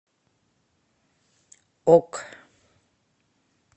ок